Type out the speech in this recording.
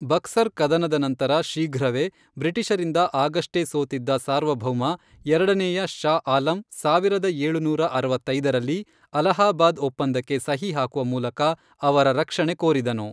ಬಕ್ಸರ್ ಕದನದ ನಂತರ ಶೀಘ್ರವೇ, ಬ್ರಿಟಿಷರಿಂದ ಆಗಷ್ಟೇ ಸೋತಿದ್ದ ಸಾರ್ವಭೌಮ ಎರಡನೇಯ ಷಾ ಆಲಂ ಸಾವಿರದ ಏಳುನೂರ ಅರವತ್ತೈದರಲ್ಲಿ, ಅಲಹಾಬಾದ್ ಒಪ್ಪಂದಕ್ಕೆ ಸಹಿ ಹಾಕುವ ಮೂಲಕ ಅವರ ರಕ್ಷಣೆ ಕೋರಿದನು.